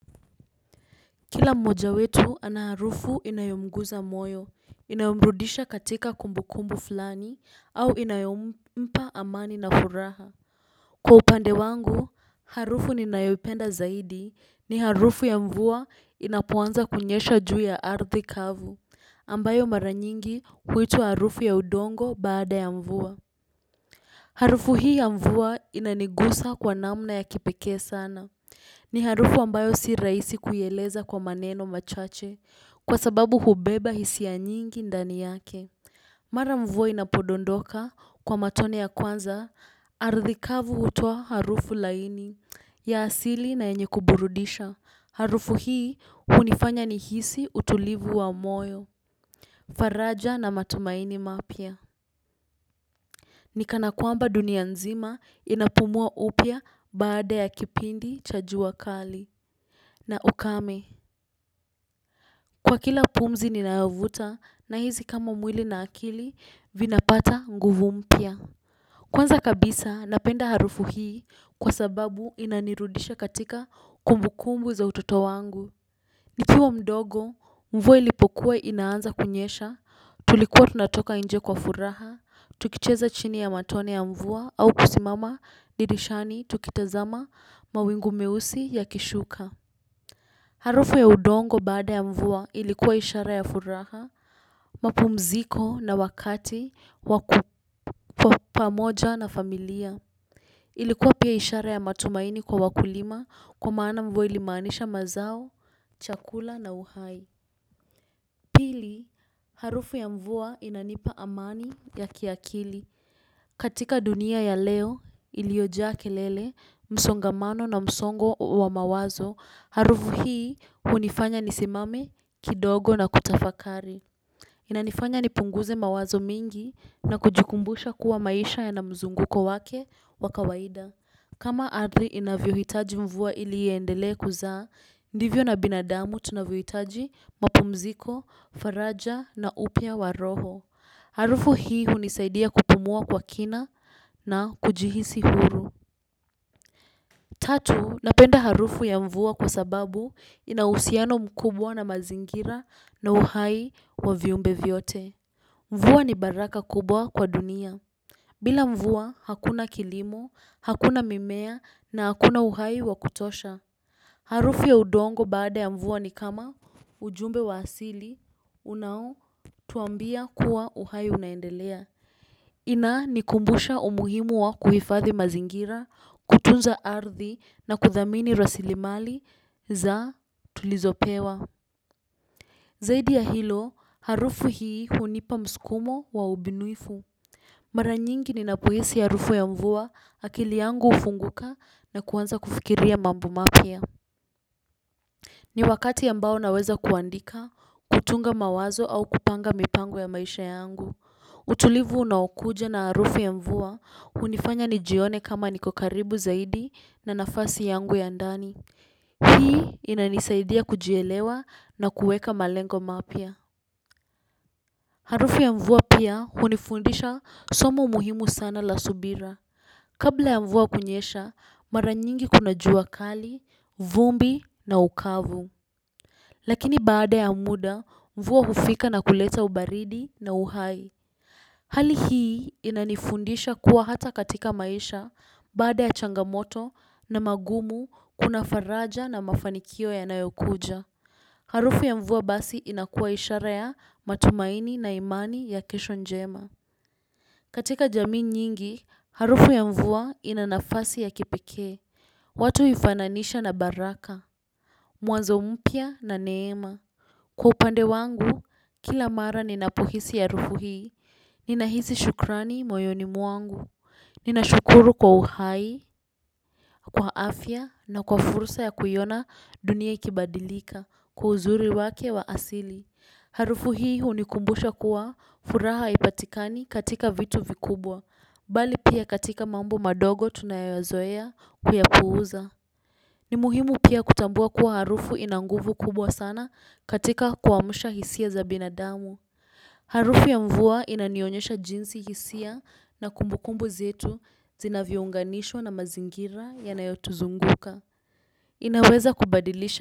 Kila mmoja wetu ana harufu inayomguza moyo, inamrudisha katika kumbukumbu fulani, au inayompa amani na furaha. Kila mmoja wetu ana harufu inayomguza moyo, inayombrudisha katika kumbukumbu fulani, au inayompa amani na furaha. Kwa upande wangu, harufu ni nayopenda zaidi ni harufu ya mvua inapuanza kunyesha juu ya ardi kavu, ambayo maranyingi kuituwa harufu ya udongo baada ya mvua. Harufu hii ya mvua inanigusa kwa namna ya kipeke sana. Ni harufu ambayo si raisi kuyeleza kwa maneno machache kwa sababu hubeba hisi ya nyingi ndani yake. Mara mvua inapodondoka kwa matone ya kwanza, aradhi kavu utoa harufu laini ya asili na yenye kuburudisha. Harufu hii unifanya nihisi utulivu wa moyo, faraja na matumaini mapya. Nikana kwamba dunia nzima inapumua upya baada ya kipindi cha jua kali. Na ukame, kwa kila pumzi nina vuta na hizi kama mwili na akili vinapata nguvu mpya. Kwanza kabisa napenda harufu hii kwa sababu inanirudisha katika kumbukumbu za utoto wangu. Nilipokuwa mdogo, mvua ilipokuwa inaanza kunyesha, tulikuwa tunatoka nje kwa furaha, tukicheza chini ya matone ya mvua au kusimama dirishani tukitazama mawingu meusi ya kushuka. Harufu ya udongo baada ya mvua ilikuwa ishara ya furaha, mapumziko na wakati wa pamoja na familia. Ilikuwa pia ishara ya matumaini kwa wakulima kwa maana mvua ilimanisha mazao, chakula na uhai. Pili, harufu ya mvua inanipa amani ya kiakili. Katika dunia ya leo iliojaa kelele, msongamano na msongo wa mawazo, harufu hii hunifanya ni simame kidogo na kutafakari. Inanifanya ni punguze mawazo mingi na kujukumbusha kuwa maisha ya namzunguko wake wakawaida. Kama arthi inavyo hitaji mvua ili yendele kuzaa, ndivyo na binadamu tunavyo hitaji mpumziko, faraja na upya wa roho. Harufu hii hunisaidia kupumua kwa kina na kujihisi huru. Tatu, napenda harufu ya mvua kwa sababu inausiano mkubwa na mazingira na uhai wa viumbe vyote. Mvua ni baraka kubwa kwa dunia. Bila mvua hakuna kilimo, hakuna mimea na hakuna uhai wa kutosha. Harufu ya udongo baada ya mvua ni kama ujumbe wa asili, unao tuambia kuwa uhai unaendelea. Inaa ni kumbusha umuhimu wa kuhifathi mazingira, kutunza arthi na kuthamini rasilimali za tulizopewa. Zaidi ya hilo, harufu hii hunipa mskumo wa ubinuifu. Mara nyingi ninapohisi harufu ya mvua akili yangu ufunguka na kuwanza kufikiria mambo mapya. Ni wakati ambao naweza kuandika, kutunga mawazo au kupanga mipango ya maisha yangu. Utulivu unaokuja na harufu ya mvua hunifanya nijione kama niko karibu zaidi na nafasi yangu ya ndani. Hii inanisaidia kujielewa na kueka malengo mapya. Harufu ya mvua pia hunifundisha somo muhimu sana la subira. Kabla ya mvua kunyesha, mara nyingi kuna jua kali, vumbi na ukavu. Lakini baada ya muda, mvua hufika na kuleta ubaridi na uhai. Hali hii inanifundisha kuwa hata katika maisha baada ya changamoto na mangumu kuna faraja na mafanikio yanayokuja. Harufu ya mvua basi inakua ishara ya matumaini na imani ya kesho njema. Katika jamii nyingi, harufu ya mvua inanafasi ya kipeke. Watu huifananisha na baraka, mwanzo mpya na neema. Kwa upande wangu, kila mara ninapuhisi harufu hii, ninashukuru kwa uhai, kwa afya na kwa fursa ya kuiona dunia ikibadilika kwa uzuri wake wa asili. Harufu hii hunikumbusha kuwa furaha haipatikani katika vitu vikubwa bali pia katika mambo madogo tunayoyazoea kuyapuuza. Ni muhimu pia kutambua kuwa harufu ina nguvu kubwa sana katika kuamusha hisia za binadamu. Harufu ya mvua inanionyesha jinsi hisia na kumbukumbu nzitu zinavyounganishwa na mazingira yanayotuzunguka. Inaweza kubadilisha.